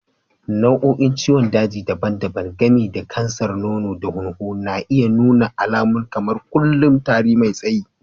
Nau'o'in ciwon daji daban-daban, gami da kansar nono da hunhu, na iya nuna alamu kamar kullu, tari mai tsayi.